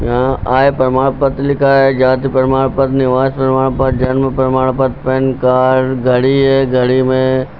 यहां आय प्रमाण पत्र लिखा है जाति प्रमाण पत्र निवास प्रमाण पत्र जन्म प्रमाण पत्र पैन कार्ड घड़ी है घड़ी में--